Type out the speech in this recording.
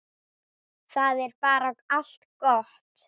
Það er bara allt gott.